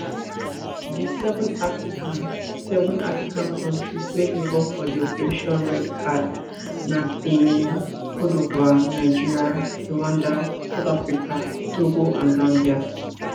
di seven african seven african kontris wey involve for di operation red card na benin cte divoire nigeria rwanda south africa togo and zambia